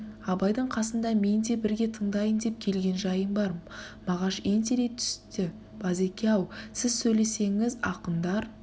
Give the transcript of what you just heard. абайдың қасында мен де бірге тындайын деп келгенжайым бар мағаш ентелей түсті базеке-ау сіз сөйлесеңіз ақындар